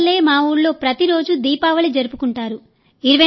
మీ వల్లే మా ఊళ్లో ప్రతిరోజు దీపావళి జరుపుకుంటారు